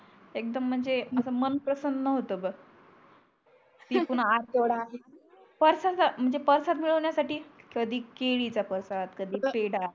एक एकदम म्हणजे अस मन प्रसन्न होत बग ती पूर्ण आतडा नंतर परसाध तर म्हणजे परसाध मिडवण्या साठी कधी केळीचा परसाध कधी पेडा अग